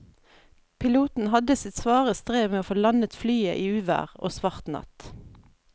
Piloten hadde sitt svare strev med å få landet flyet i uvær og svart natt.